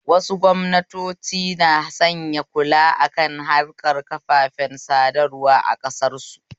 Wasu gwamnatoci na sanya kula akan harkar kafafen sadarwa a ƙasar su